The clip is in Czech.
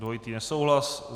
Dvojitý nesouhlas.